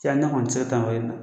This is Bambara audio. Tiyaniya kɔni ti se ka taa n'o ye